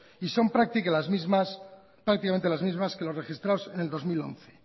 y son prácticamente las misma que las registradas en dos mil once